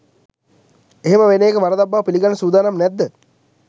එහෙම වෙන එක වරදක් බව පිළිගන්න සූදානම් නැද්ද?